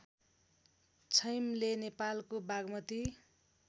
छैमले नेपालको बागमती